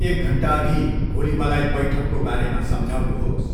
एक घन्टाअघि भोलि मलाई बैठकको बारेमा सम्झाउनुहोस्